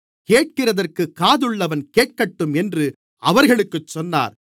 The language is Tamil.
கேட்கிறதற்குக் காதுள்ளவன் கேட்கட்டும் என்று அவர்களுக்குச் சொன்னார்